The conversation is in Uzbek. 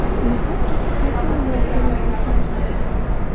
Niqob taqib, qarta o‘ynayotgan erkaklar.